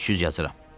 300 yazıram.